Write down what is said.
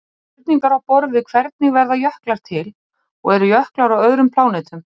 Spurningar á borð við hvernig verða jöklar til? og eru jöklar á öðrum plánetum?